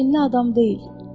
Kinli adam deyil.